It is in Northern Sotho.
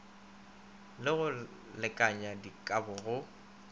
le go lekanya dikabo go